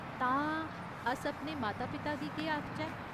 तां, अस अपने माता पिता गी केह् आखचै ?